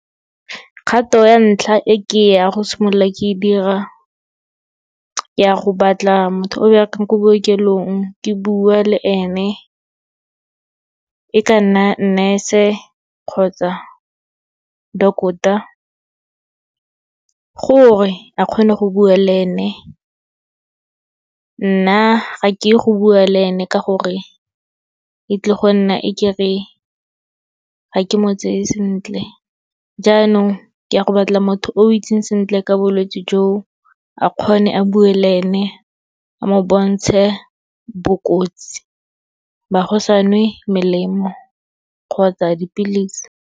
Kgato ya ntlha e ke ya go simolola ke e dira, ke ya go batla motho o berekang ko bookelong ke bua le ene, e ka nna nurse-e kgotsa doctor. Gore, a kgone go bua le ene, nna ga ke go bua le ene, ka gore e tlile go nna e ke re, ga ke mo tseye sentle. Jaanong ke a go batla motho o itseng sentle ka bolwetse jo, a kgone a bue le ene, a mo bontshe bokotsi ba go sa nwe melemo kgotsa dipilisi.